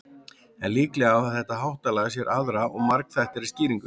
en líklega á þetta háttalag sér aðra og margþættari skýringu